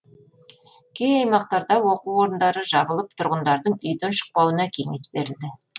кей аймақтарда оқу орындары жабылып тұрғындардың үйден шықпауына кеңес берілді